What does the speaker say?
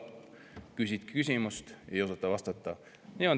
Küsid küsimuse, aga sellele ei osata vastata.